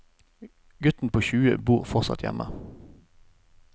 Gutten på tjue bor fortsatt hjemme.